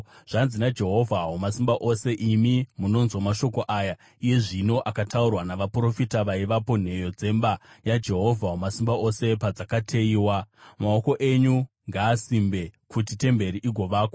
Zvanzi naJehovha Wamasimba Ose: “Imi munonzwa mashoko aya iye zvino, akataurwa navaprofita vaivapo nheyo dzemba yaJehovha Wamasimba Ose padzakateyiwa, maoko enyu ngaasimbe kuti temberi igovakwa.